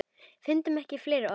Fundum ekki fleiri orð.